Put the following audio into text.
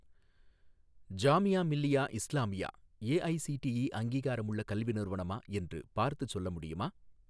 Jamia Millia Islamia AICTE அங்கீகாரமுள்ள கல்வி நிறுவனமா என்று பார்த்துச் சொல்ல முடியுமா?